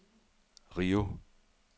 Rio